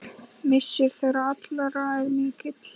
Missir þeirra allra er mikill.